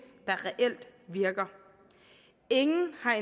der reelt virker ingen har